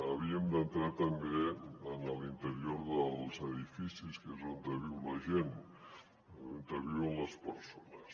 havíem d’entrar també en l’interior dels edificis que és on viu la gent on viuen les persones